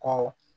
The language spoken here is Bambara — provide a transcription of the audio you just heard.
Kɔrɔ